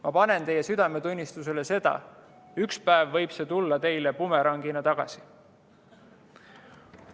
Ma panen teile südamele, et ükspäev võib see teile bumerangina tagasi tulla.